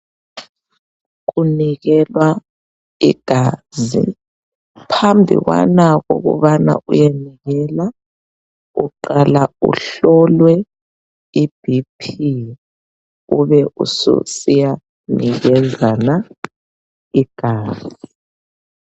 Kunikelwa igazi phambi kwana ukubana uyenikela uqala uhlolwe iBp ube usiya nikezana igazi.